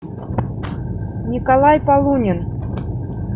николай полунин